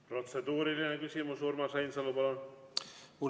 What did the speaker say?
Protseduuriline küsimus, Urmas Reinsalu, palun!